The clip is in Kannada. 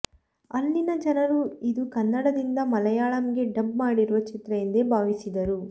ಅಲ್ಲಿನ ಜನರು ಇದು ಕನ್ನಡದಿಂದ ಮಲಯಾಳಂಗೆ ಡಬ್ ಮಾಡಿರುವ ಚಿತ್ರ ಎಂದೇ ಭಾವಿಸಿದರು